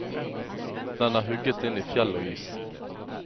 Den er hugget inn i fjell og is.